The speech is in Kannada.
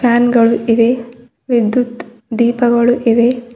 ಫ್ಯಾನ್ ಗಳು ಇವೆ ವಿದ್ಯುತ್ ದೀಪಗಳು ಇವೆ.